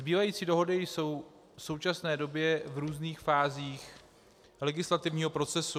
Zbývající dohody jsou v současné době v různých fázích legislativního procesu.